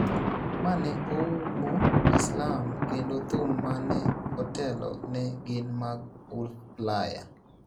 ma ne oumo Islam kendo thum ma ne otelo ne gin mag Ulaya.